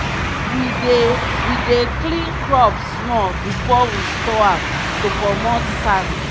we dey we dey clean crop small before we store am to comot sand.